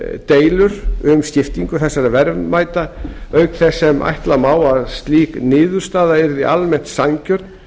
deilur um skiptingu þessara verðmæta auk þess sem ætla má að slík niðurstaða yrði almennt sanngjörn